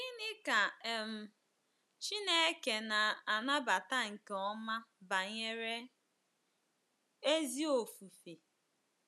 Gịnị ka um Chineke na-anabata nke ọma banyere ezi ofufe?